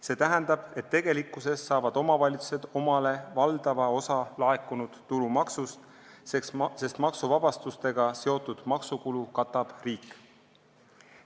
See tähendab, et tegelikkuses saavad omavalitsused endale valdava osa laekunud tulumaksust, sest maksuvabastustega seotud maksukulu katab riik.